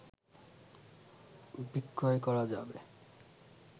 বিক্রয় করা যাবে